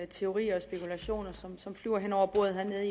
teorier og spekulationer som som flyver hen over bordet hernede